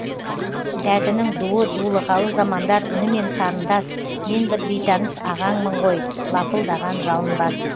дәтінің дуы дулығалы замандар үнімен сарындас мен бір бейтаныс ағаңмын ғой лапылдаған жалынбас